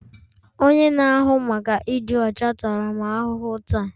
Onye na-ahụ maka ịdị ọcha tara m ahụhụ taa